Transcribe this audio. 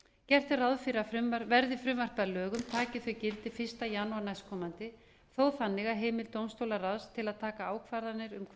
gert er ráð fyrir að verði frumvarpið að lögum taki þau gildi fyrsta janúar næstkomandi þó þannig að heimild dómstólaráðs til að taka ákvarðanir hvar